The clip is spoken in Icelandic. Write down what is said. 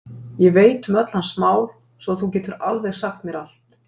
Ég veit um öll hans mál svo að þú getur alveg sagt mér allt.